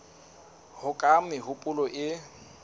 ho ya ka mehopolo e